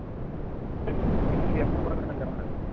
কিন্তু বিয়া খাবলে নাযাও আৰু